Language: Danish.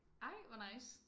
Ej hvor nice